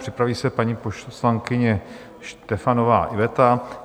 Připraví se paní poslankyně Štefanová Iveta.